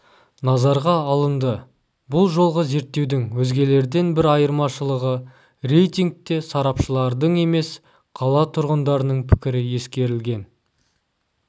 назарға алынды бұл жолғы зерттеудің өзгелерден бір айырмашылығы рейтингте сарапшылардың емес қала тұрғындарының пікірі ескерілген